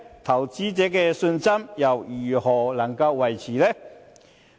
投資者信心又如何能夠維持呢？